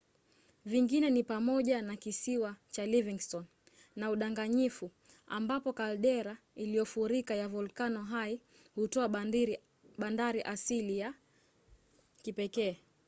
vingine ni pamoja na kisiwa cha livingston na udanganyifu ambapo kaldera iliyofurika ya volkano hai hutoa bandari asili ya kipekee